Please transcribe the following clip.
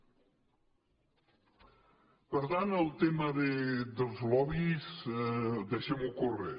per tant el tema dels lobbys deixem ho córrer